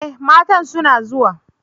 E! matan suna zuwa.